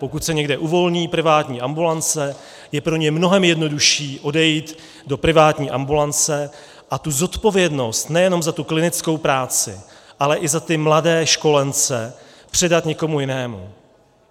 Pokud se někde uvolní privátní ambulance, je pro ně mnohem jednodušší odejít do privátní ambulance a tu zodpovědnost nejenom za tu klinickou práci, ale i za ty mladé školence předat někomu jinému.